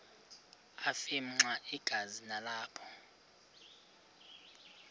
afimxa igazi nalapho